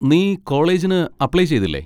നീ കോളേജിന് അപ്ലൈ ചെയ്തില്ലേ?